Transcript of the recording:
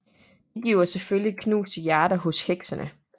Det giver selvfølgelig knuste hjerter hos heksene